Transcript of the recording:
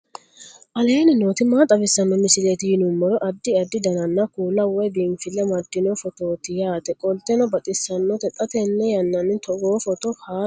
aleenni nooti maa xawisanno misileeti yinummoro addi addi dananna kuula woy biinfille amaddino footooti yaate qoltenno baxissannote xa tenne yannanni togoo footo haara danchate